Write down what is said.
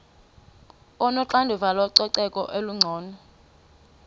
onoxanduva lococeko olungcono